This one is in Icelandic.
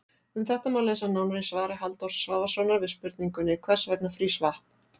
Um þetta má lesa nánar í svari Halldórs Svavarssonar við spurningunni Hvers vegna frýs vatn?